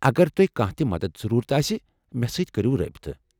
اگر تۄہہ کانٛہہ تہِ مدتھ ضروٗرت آسہ مےٚ سۭتۍ كریو رٲبطہٕ۔